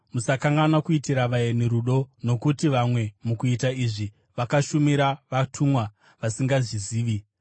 Musakanganwa kuitira vaeni rudo, nokuti vamwe mukuita izvi vakashumira vatumwa vasingazvizivi.